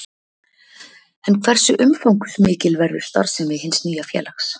En hversu umfangsmikil verður starfssemi hins nýja félags?